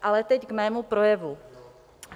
Ale teď k mému projevu.